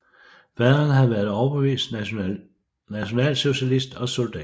Faderen havde været overbevist nationalsocialist og soldat